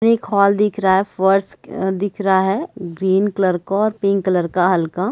फिर एक हाल दिख रहा है फर्श अ दिख रहा है ग्रीन कलर का और पिंक कलर का हल्का--